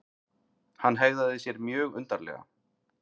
Hann hegðaði sér mjög undarlega.